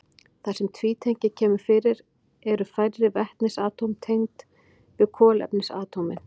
Þar sem tvítengi kemur fyrir eru færri vetnisatóm tengd við kolefnisatómin.